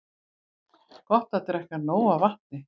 Gott er að drekka nóg af vatni.